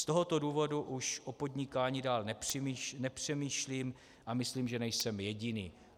Z tohoto důvodu již o podnikání dál nepřemýšlím a myslím, že nejsem jediný."